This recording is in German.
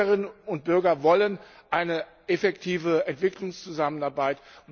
Unsere Bürgerinnen und Bürger wollen eine effektive Entwicklungszusammenarbeit.